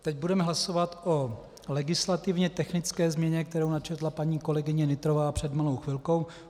Teď budeme hlasovat o legislativně technické změně, kterou načetla paní kolegyně Nytrová před malou chvilkou.